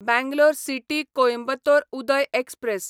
Bangalore city Coimbatore Uday express